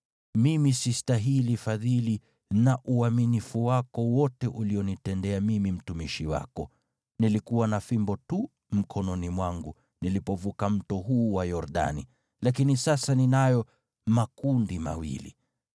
mimi sistahili fadhili na uaminifu wako wote ulionitendea mimi mtumishi wako. Nilikuwa na fimbo tu mkononi mwangu nilipovuka mto huu wa Yordani, lakini sasa ninayo makundi mawili.